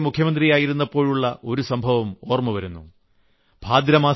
ഞാൻ ഗുജറാത്തിലെ മുഖ്യമന്ത്രിയായിരുന്നപ്പോളുള്ള ഒരു സംഭവം ഓർമ്മവരുന്നു